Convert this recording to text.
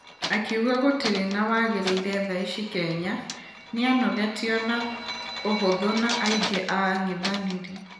Akĩuga gũtire na ....wagereire tha ici kenya ,nĩanogetio na ũhũthũ na aingĩ a angethanĩri.